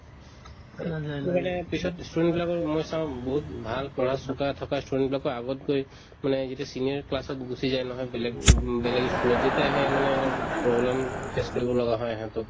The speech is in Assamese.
এইটো মানে পিছত ই student বিলাকৰ মই চাওঁ বহুত ভাল পঢ়াত চোকা থকা ই student বিলাকো আগত গৈ মানে যেতিয়া senior class ত গুচি যায় নহয় বে উম বেলেগ ই school ত তেতিয়া সেই মানে উম অলপ problem face কৰিব লগা হয় সিহঁতো